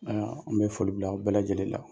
Aa an bɛ foli bila aw bɛɛ lajɛlen la